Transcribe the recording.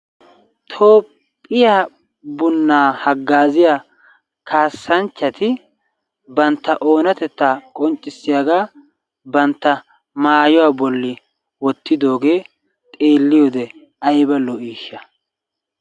Toophphiya bunnaa haggaaziya kassanchchati bantta oonatetta qonccissiyagaa bantta maayuwa bolli wottiddoogee xeeliyode aybba lo"ishsha!